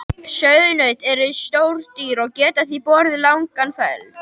Sauðnaut eru stór dýr og geta því borið langan feld.